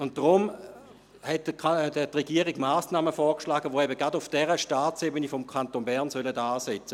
Deshalb hat die Regierung Massnahmen vorgeschlagen, welche eben auf der Staatsebene des Kantons Bern ansetzen sollen.